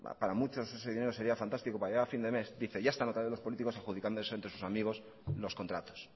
para muchos ese dinero sería fantástico para llegar a fin de mes dice ya están otra vez los políticos adjudicando eso entre sus amigos los contratos